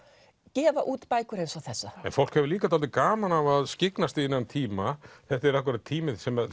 gefa út bækur eins og þessa fólk hefur líta dálítið gaman af að skyggnast í þennan tíma þetta er akkúrat tíminn sem